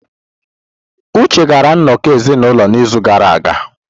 Uche gara nnọkọ ezinụlọ n'izu gara aga.